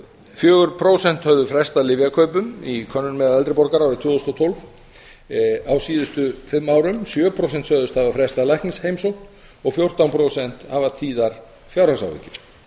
fjögur prósent höfðu frestað lyfjakaupum í könnun meðal eldri borgara árið tvö þúsund og tólf á síðustu fimm árum sjö prósent sögðust hafa frestað læknisheimsókn og fjórtán prósent hafa tíðar fjárhagsáhyggjur